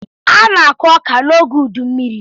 A na-akụ ọka n'oge ụdụ mmiri.